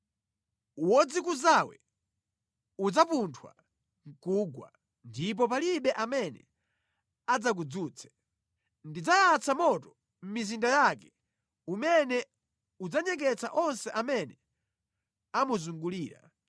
Wodzikuzawe udzapunthwa nʼkugwa ndipo palibe amene adzakudzutse; ndidzayatsa moto mʼmizinda yake umene udzanyeketsa onse amene amuzungulira.”